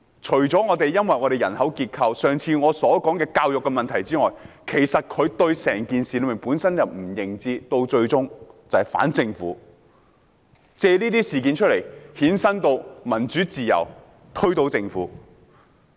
除因本港人口結構及我上次提到的教育問題外，其實他們本身對整件事也缺乏認知，最終便是反政府，藉這些事件扯上民主自由，然後推倒政府。